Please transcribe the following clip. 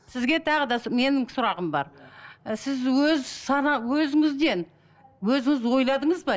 сізге тағы да менің сұрағым бар ы сіз өз сана өзіңізден өзіңіз ойладыңыз ба